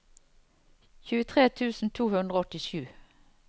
tjuetre tusen to hundre og åttisju